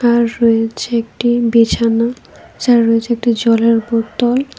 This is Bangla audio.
আর রয়েছে একটি বিছানা আর রয়েছে একটি জলের বোতল ।